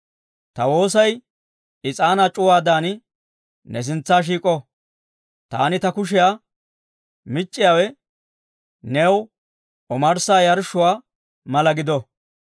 Ta woosay is'aanaa c'uwaadan, ne sintsa shiik'o; taani ta kushiyaa mic'c'iyaawe, new omarssa yarshshuwaa mala gido.